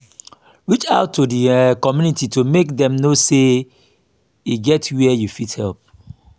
reach out to di um community to make dem know sey e get where you fit help